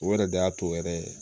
O yɛrɛ de y'a to yɛrɛ ye